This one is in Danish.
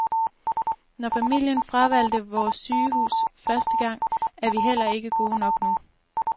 Når familien fravalgte vores sygehus første gang, er vi heller ikke gode nok nu.